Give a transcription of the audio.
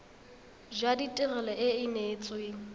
jwa tirelo e e neetsweng